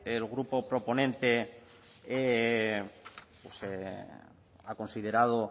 el grupo proponente pues ha considerado